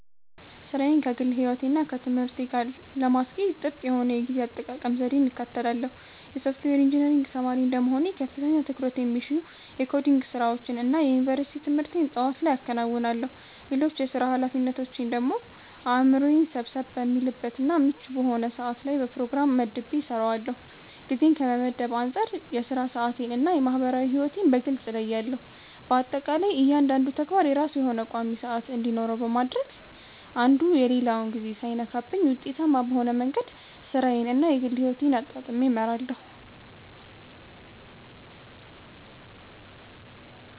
ሥራዬን ከግል ሕይወቴ እና ከትምህርቴ ጋር ለማስኬድ ጥብቅ የሆነ የጊዜ አጠቃቀም ዘዴን እከተላለሁ። የሶፍትዌር ኢንጂነሪንግ ተማሪ እንደመሆኔ ከፍተኛ ትኩረት የሚሹ የኮዲንግ ስራዎችን እና የዩኒቨርሲቲ ትምህርቴን ጠዋት ላይ አከናውናለሁ። ሌሎች የሥራ ኃላፊነቶቼን ደግሞ አእምሮዬ ሰብሰብ በሚልበት እና ምቹ በሆነ ሰዓት ላይ በፕሮግራም መድቤ እሰራዋለሁ። ጊዜን ከመመደብ አንፃር የሥራ ሰዓቴን እና የማህበራዊ ሕይወቴን በግልጽ እለያለሁ። በአጠቃላይ እያንዳንዱ ተግባር የራሱ የሆነ ቋሚ ሰዓት እንዲኖረው በማድረግ አንዱ የሌላውን ጊዜ ሳይነካብኝ ውጤታማ በሆነ መንገድ ሥራዬን እና የግል ሕይወቴን አጣጥሜ እመራለሁ።